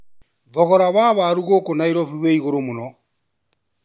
Thogora wa waru gũkũ Nairobi wĩ igũrũ mũno.